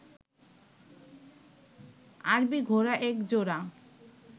আরবি ঘোড়া এক জোড়া